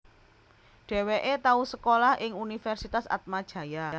Dheweke tau sekolah ing Universitas Atmajaya